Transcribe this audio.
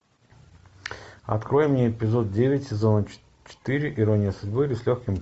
открой мне эпизод девять сезона четыре ирония судьбы или с легким